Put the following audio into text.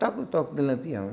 Toca o toque de Lampião.